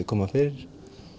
koma fyrir